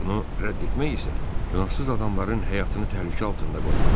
Bunu rədd etmək isə günahsız adamların həyatını təhlükə altında qoymaqdır.